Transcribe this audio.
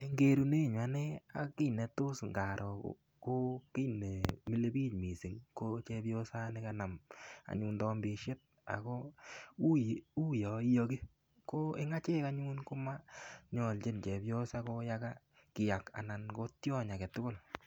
En kerunenunyen anee ak kit netos ikaroo ko kit nemile bik missng ko chemiosanii anyun kanam anyun tombishet ako uyon iyoki ko en echek anyun komonyoljin chepyosa koyakaa kiyak anan ko tyony aketukul.